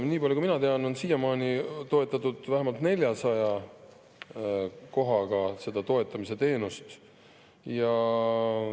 Nii palju kui mina tean, on siiamaani toetatud vähemalt 400 kohaga seda toetamisteenust.